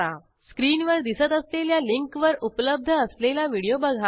स्क्रीनवर दिसत असलेल्या लिंकवर उपलब्ध असलेला व्हिडिओ बघा